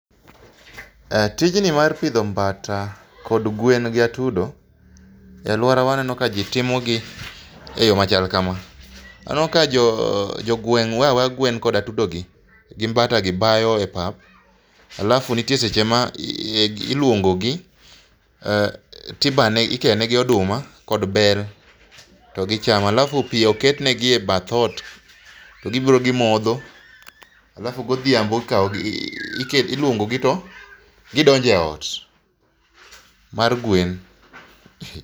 Tijni mar pidho mbata kod gwen gi atudo, e aluorawa aneno kaji timogi eyo machal kama. Aneno ka jogweng' weyo aweya gwen kod atudogi gi mbata gi bayo e pap alafu nitie seche ma iluongogi to ibayo ikeyo negi oduma kod bel to gichamo alafu pi oket negi e bath ot to gibiro gimodho, alafu godhiambo to ikawogi iluongogi alafu gidonjo eot mar gwen.